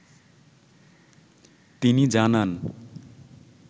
তিনি জানান